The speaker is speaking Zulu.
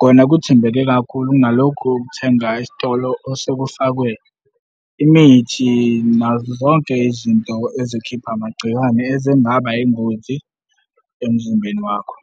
kona kuthembeke kakhulu kunalokhu okuthenga esitolo osekufakwe imithi nazo zonke izinto ezikhipha amagciwane ezingaba yingozi emzimbeni wakho.